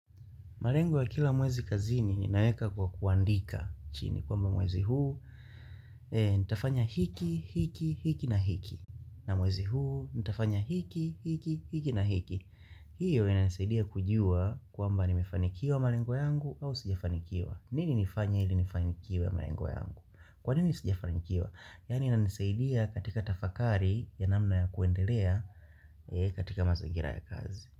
Malengo ya kila mwezi kazini ninaweka kwa kuandika chini. Kama mwezi huu, nitafanya hiki, hiki, hiki na hiki. Na mwezi huu, nitafanya hiki, hiki, hiki na hiki. Hiyo ina nisaidia kujua kwa mba ni mefanikiwa malengo yangu au sijafanikiwa. Nini nifanye ili nifanikiwe malengo yangu? Kwa nini sijafanikiwa? Yani inanisaidia katika tafakari ya namna ya kuendelea katika mazingira ya kazi.